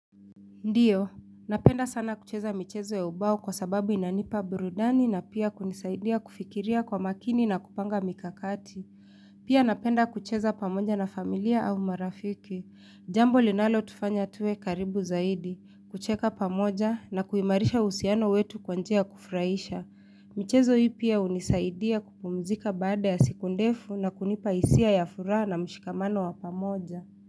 Ndio, napenda sana kucheza michezo ya ubao kwa sababu inanipa burudani na pia kunisaidia kufikiria kwa makini na kupanga mikakati. Pia napenda kucheza pamoja na familia au marafiki. Jambo linalotufanya tuwe karibu zaidi, kucheka pamoja na kuimarisha uhusiano wetu kwa njia kufurahisha. Michezo hii pia hunisaidia kupumzika baada ya siku ndefu na kunipa hisia ya furaha na mshikamano wa pamoja.